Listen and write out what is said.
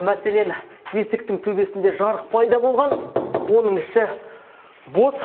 мәселен есіктің төбесінде жарық пайда болған оның іші бос